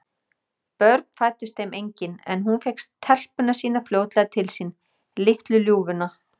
Börn fæddust þeim engin, en hún fékk telpuna sína fljótlega til sín, litlu ljúfuna.